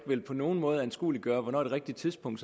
på nogen måde anskueliggøre hvornår det rigtige tidspunkt